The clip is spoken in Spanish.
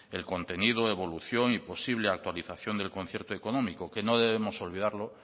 el contenido evolución y posible actualización del concierto económico que no debemos olvidarlo